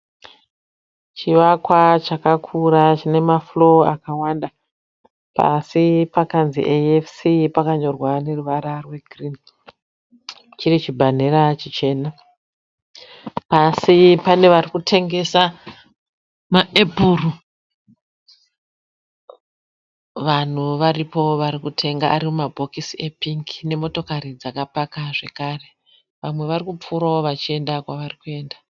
Chivakwa chakakura chine mafloor akawanda, pasi pakanzi AFC pakanyorwa neruvara rwegirini chiri chibhanera chichena. Pasi pane varikutengesa maepuru vanhu varipo varikutenga ari mumabokisi epingi nemotokari dzakapaka zvekare vamwe vari kupfuurawo vachienda kwavari kuenda.